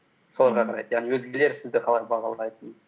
соларға қарайды яғни өзгелер сізді қалай бағалайтынын